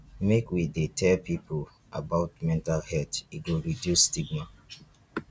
make we dey tell pipo about mental health e go reduce stigma.